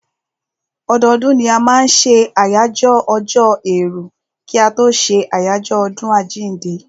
Ọdọdún ni a máa n ṣe àyájọ́ ọjọ́ èèrù kí a tó ṣé àjọyọ̀ ọdún àjínde